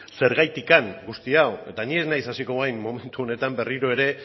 zergatik guzti hau eta ni ez naiz hasiko orain momentu honetan berriro ere